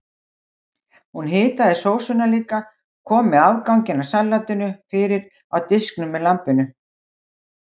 Hún hitaði sósuna líka og kom afganginum af salatinu fyrir á diskunum með lambinu.